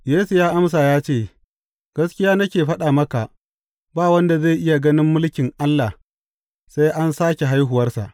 Yesu ya amsa ya ce, Gaskiya nake faɗa maka, ba wanda zai iya ganin mulkin Allah sai an sāke haihuwarsa.